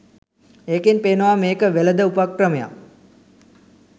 ඒකෙන් පේනවා මේක වෙලද උපක්‍රමයක්